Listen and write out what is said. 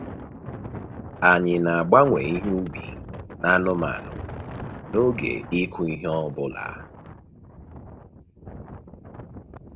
Anyị na-agbanwe ihe ubi na anụmanụ n’oge ịkụ ihe ọ bụla.